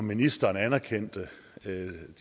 ministeren anerkendte